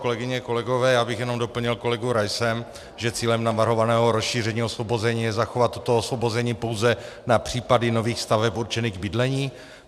Kolegyně, kolegové, já bych jenom doplnil kolegu Raise, že cílem navrhovaného rozšíření osvobození je zachovat toto osvobození pouze na případy nových staveb určených k bydlení.